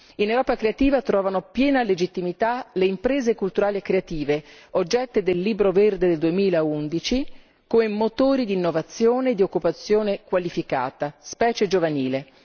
In Europa Creativa trovano piena legittimità le imprese culturali e creative, oggetto del Libro verde del 2011, come motori di innovazione e di occupazione qualificata, specie giovanile.